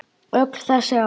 Öll þessi ár.